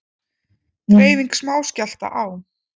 Dreifing smáskjálfta á